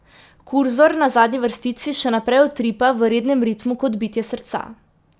Kurzor na zadnji vrstici še naprej utripa v rednem ritmu kot bitje srca.